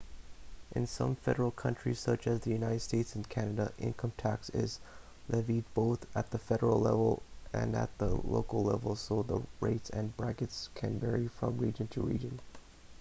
in some federal countries such as the united states and canada income tax is levied both at the federal level and at the local level so the rates and brackets can vary from region to region